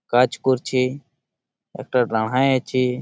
কাজ করছে একটা দাঁড়ায়েই আছে।